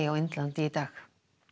á Indlandi í dag